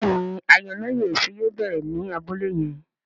Béèni ayọnáyèéfín yóò bẹrẹ ní Abúlé yén.